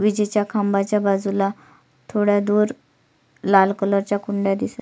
विजेच्या खांबाच्या बाजूला थोडा दूर लाल कलर च्या कुंड्या दिसत--